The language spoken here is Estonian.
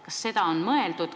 Kas seda on mõeldud?